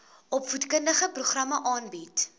opvoedkundige programme aanbied